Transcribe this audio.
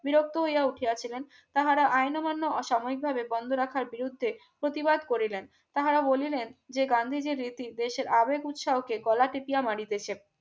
বিরক্ত হইয়া উঠিয়া ছিলেন তাহারা আইন অমান্য অসামাজিকভাবে বন্ধ রাখার বিরুদ্ধে প্রতিবাদ করে নেন তাহারা বলিলেন যে গান্ধীজীর রীতি দেশের আবেগ উৎসাহকে গলা টিপিয়া মারিতেছে